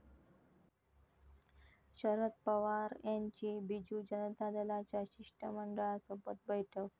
शरद पवार यांची बीजू जनता दलाच्या शिष्टमंडळासोबत बैठक